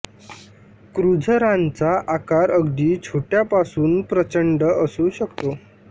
क्रुझरांचा आकार अगदी छोट्या पासून प्रचंड असू शकतो